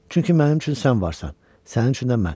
Çünki mənim üçün sən varsan, sənin üçün də mən.